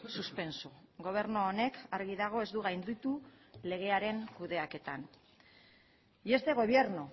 suspenso gobernu honek argi dago ez du gainditu legearen kudeaketan y este gobierno